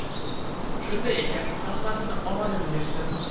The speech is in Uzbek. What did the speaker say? Shunday ekan hammasini omadini bersin.